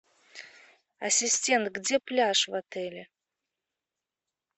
ассистент где пляж в отеле